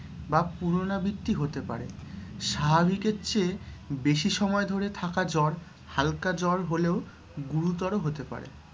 বা পুনরাবৃত্তি হতে পারে। স্বাভাবিকের চেয়ে বেশি সময় ধরে থাকা জ্বর হালকা জ্বর হলেও গুরুতর হতে পারে